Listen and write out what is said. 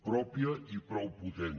pròpia i prou potent